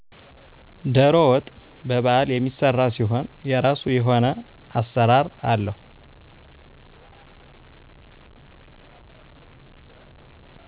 ደሮ ወጥ በበዓል የሚሰራ ሲሆን የራሱ የሆነ አሰራር አለው።